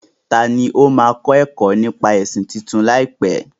Tani ó máa máa kẹ́kọ̀ọ́ nípa ẹ̀sìn tuntun láìpẹ́?